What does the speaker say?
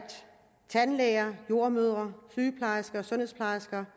tandlæger jordemødre sygeplejersker sundhedsplejersker